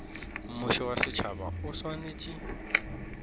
mmušo wa setšhaba o swanetše